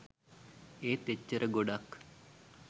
ඒත් එච්චර ගොඩක්